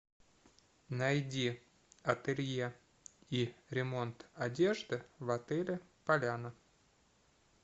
найди ателье и ремонт одежды в отеле поляна